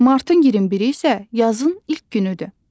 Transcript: Martın 21-i isə yazın ilk günüdür.